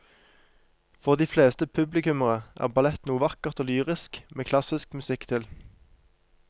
For de fleste publikummere er ballett noe vakkert og lyrisk med klassisk musikk til.